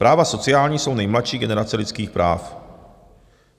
Práva sociální jsou nejmladší generace lidských práv.